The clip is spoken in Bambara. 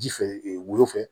Ji fɛ ee wo fɛ